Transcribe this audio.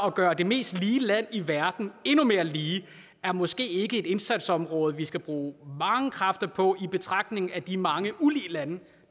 at gøre det mest lige land i verden endnu mere lige er måske ikke et indsatsområde vi skal bruge mange kræfter på i betragtning af de mange ulige lande